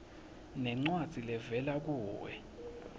nencwadzi levela kuwe